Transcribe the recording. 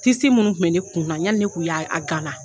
Tisi minnu kun bɛ ne kun na yanni ne kun y'a a gala.